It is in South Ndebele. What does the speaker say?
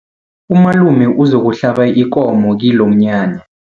Umalume uzokuhlaba ikomo kilomnyanya.